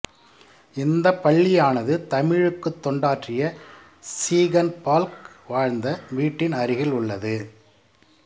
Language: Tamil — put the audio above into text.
இந்தப் பள்ளியானது தமிழுக்குத் தொண்டாற்றிய சீகன் பால்க் வாழ்ந்த வீட்டின் அருகில் உள்ளது